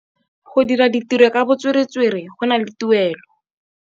Go dira ditirô ka botswerere go na le tuelô.